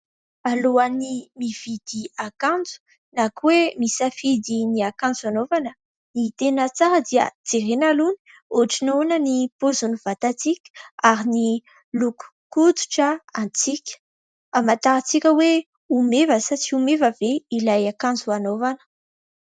Alohan'ny mividy akanjo na hoe misafidy ny akanjo anaovana, ny tena tsara dia jerena aloha ohatran' ny paozin' ny vatantsika ary ny lokon-koditra antsika hamatarantsika hoe ho meva sa tsy ho meva ve ilay akanjo anaovana.